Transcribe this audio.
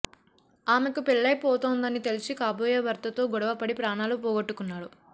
ఆమెకు పెళ్లై పోతోందని తెలిసి కాబోయే భర్తతో గొడవపడి ప్రాణాలు పోగొట్టుకున్నాడు